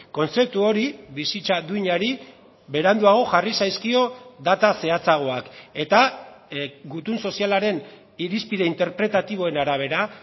kontzeptu hori bizitza duinari beranduago jarri zaizkio data zehatzagoak eta gutun sozialaren irizpide interpretatiboen arabera